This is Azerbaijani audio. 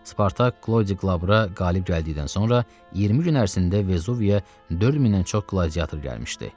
Spartak Klodi Qlabura qalib gəldikdən sonra 20 gün ərzində Vesuviya 4000-dən çox qladiyator gəlmişdi.